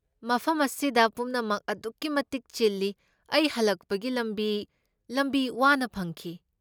ꯃꯐꯝ ꯑꯁꯤꯗ ꯄꯨꯝꯅꯃꯛ ꯑꯗꯨꯛꯀꯤ ꯃꯇꯤꯛ ꯆꯤꯜꯂꯤ, ꯑꯩ ꯍꯜꯂꯛꯄꯒꯤ ꯂꯝꯕꯤ ꯂꯝꯕꯤ ꯋꯥꯅ ꯐꯪꯈꯤ꯫